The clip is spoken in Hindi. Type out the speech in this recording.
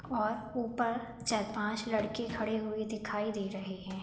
और ऊपर चार-पांच लड़के खड़े हुए दिखाई दे रहे हैं।